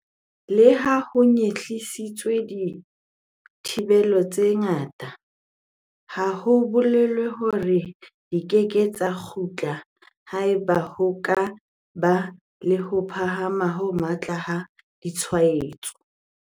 Leha ho nyehlisitswe dithibelo tse ngata, ha ho bolele hore di keke tsa kgutla haeba ho ka ba le ho phahama ho matla ha ditshwaetso.